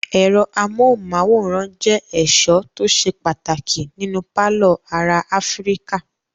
Ẹ̀rọ amóhùmáwòhán jẹ́ ẹ̀sọ́ tó ṣe pàtàkì nínú pálọ̀ ará Áfíríkà.